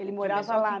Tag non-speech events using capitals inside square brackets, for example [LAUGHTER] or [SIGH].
[UNINTELLIGIBLE] Ele morava lá?